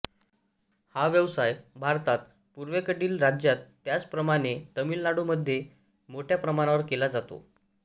हा व्यवसाय भारतात पूर्वेकडील राज्यात त्याचप्रमाणे तामीलनाडूमध्ये मोठ्या प्रमाणावर केला जातो